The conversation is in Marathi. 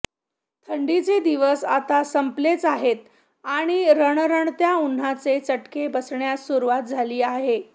थंडीचे दिवस आता संपलेच आहेत आणि रणरणत्या उन्हाचे चटके बसण्यास सुरुवात झाली आहे